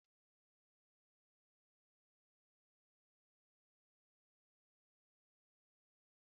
Eji m n'aka na spugeetí na-amasị ya karịa Nụ́dúls